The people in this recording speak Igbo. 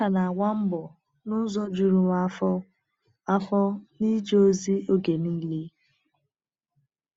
M ka na-agba mbọ n’ụzọ juru m afọ afọ n’ịje ozi oge niile.